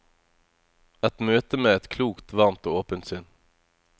Et møte med et klokt, varmt og åpent sinn.